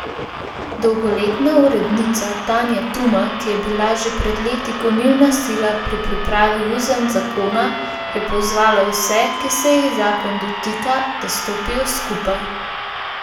Dolgoletna urednica Tanja Tuma, ki je bila že pred leti gonilna sila pri pripravi uzanc zakona, je pozvala vse, ki se jih zakon dotika, da stopijo skupaj.